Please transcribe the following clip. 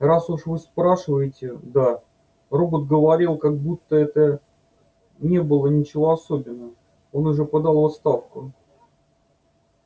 раз уж вы спрашиваете да робот говорил как будто в этом не было ничего особенного он уже подал в отставку